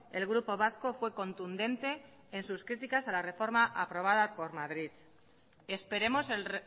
el grupo vasco fue contundente en sus criticas a la reforma aprobada por madrid esperemos el